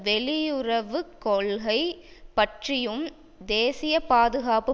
வெளியுறவு கொள்கை பற்றியும் தேசியப்பாதுகாப்பு